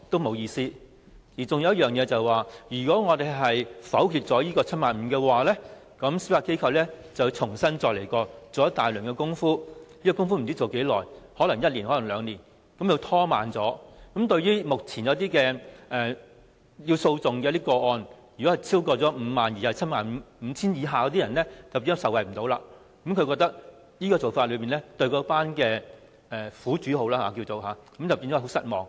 還有一點，如果我們否決 75,000 元的限額，司法機構便會重新研究，做一大輪工夫，這些工夫不知何時做完，可能要一兩年時間，這樣目前在審裁處審理介乎 50,000 元與 75,000 元的申索，便不能受惠，他覺得這樣會令有關苦主非常失望。